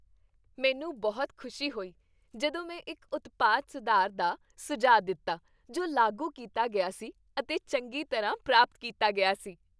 ਮੈਨੂੰ ਬਹੁਤ ਖੁਸ਼ੀ ਹੋਈ ਜਦੋਂ ਮੈਂ ਇੱਕ ਉਤਪਾਦ ਸੁਧਾਰ ਦਾ ਸੁਝਾਅ ਦਿੱਤਾ ਜੋ ਲਾਗੂ ਕੀਤਾ ਗਿਆ ਸੀ ਅਤੇ ਚੰਗੀ ਤਰ੍ਹਾਂ ਪ੍ਰਾਪਤ ਕੀਤਾ ਗਿਆ ਸੀ।